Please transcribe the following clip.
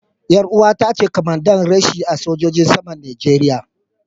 Yar uwata ce kwamanda reshe a sojojin saman Najeriya.